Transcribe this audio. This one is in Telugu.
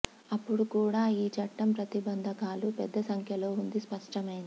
అప్పుడు కూడా ఈ చట్టం ప్రతిబంధకాలు పెద్ద సంఖ్యలో ఉంది స్పష్టమైంది